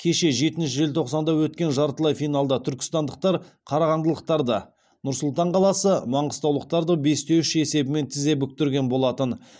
кеше жетінші желтоқсанда өткен жартылай финалда түркістандықтар қарағандылықтарды нұр сұлтан қаласы маңғыстаулықтарды бес те үш есебімен тізе бүктірген болатын